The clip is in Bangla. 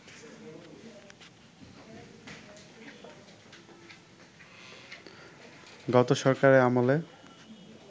গত সরকারের আমলে